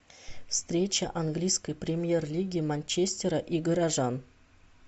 встреча английской премьер лиги манчестера и горожан